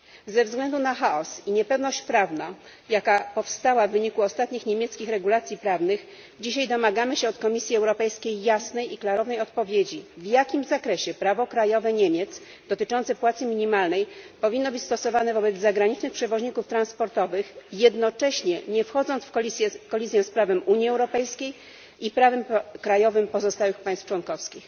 Ze względu na chaos i niepewność prawną, jaka powstała w wyniku ostatnich niemieckich regulacji prawnych, dzisiaj domagamy się od Komisji Europejskiej jasnej i klarownej odpowiedzi w jakim zakresie prawo krajowe Niemiec dotyczące płacy minimalnej powinno być stosowane wobec zagranicznych przewoźników transportowych, jednocześnie nie wchodząc w kolizję z prawem Unii Europejskiej i prawem krajowym pozostałych państw członkowskich.